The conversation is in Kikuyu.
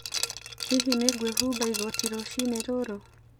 Hihi nĩ ngwĩhumba igoti rũcinĩ rũrũ?